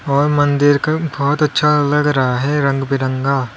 और मंदिर का बहोत अच्छा लग रहा है रंग बिरंगा --